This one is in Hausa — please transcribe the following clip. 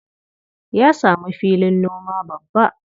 Ya samu filin noma babba.